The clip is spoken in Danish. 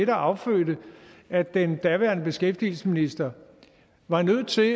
der affødte at den daværende beskæftigelsesminister var nødt til